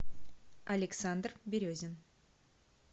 александр березин